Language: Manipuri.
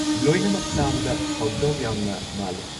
ꯂꯣꯏꯅꯃꯛ ꯇꯥꯕꯗ ꯍꯥꯎꯗꯧ ꯌꯥꯝꯅ ꯃꯥꯜꯂꯦ꯫